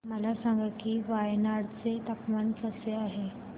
मला सांगा की वायनाड चे हवामान कसे आहे